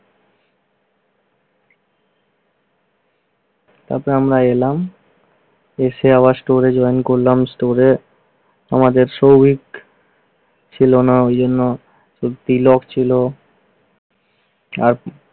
তারপর আমরা এলাম, এসে আবার store এ join করলাম। store এ আমাদের শ্রমিক ছিল না ওই জন্য। শুধু তিলক ছিল। আর